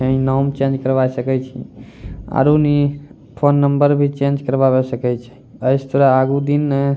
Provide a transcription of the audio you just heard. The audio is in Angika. यानी नाम चेंज करवाय सके छिं आरो नि फ़ोन नंबर भी चेंज करवावे सकै छै ऐसटरा आगु दिन नन् --